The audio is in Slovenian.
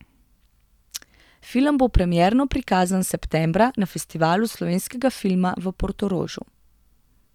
Film bo premierno prikazan septembra na Festivalu slovenskega filma v Portorožu.